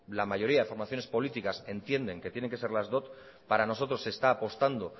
la mayoría de formaciones políticas entienden que tienen que ser las dot para nosotros se está apostando